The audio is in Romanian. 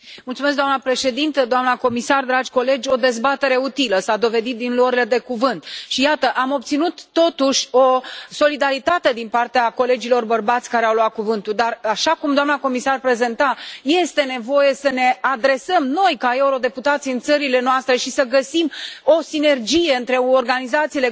Doamna Președintă, doamna comisar, dragi colegi, o dezbatere utilă, s a dovedit din luările de cuvânt. Și, iată, am obținut, totuși, o solidaritate din partea colegilor bărbați care au luat cuvântul, dar, așa cum doamna comisar prezenta, este nevoie să ne adresăm noi, ca eurodeputați, în țările noastre și să găsim o sinergie între organizațiile